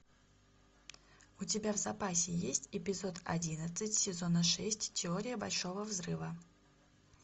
у тебя в запасе есть эпизод одиннадцать сезона шесть теория большого взрыва